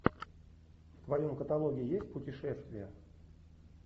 в твоем каталоге есть путешествия